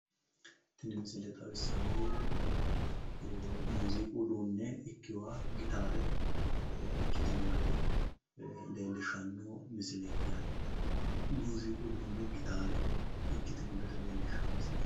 Tini misile xawissaahu muuziiqu uduunne ikkewooha gitaare ikkitino gede leellishshanno misileeti yaate muuziiqu uduunne gitaare ikkitino gede leellishshanno misileeti.